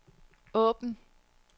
åbn